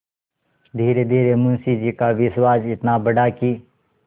धीरेधीरे मुंशी जी का विश्वास इतना बढ़ा कि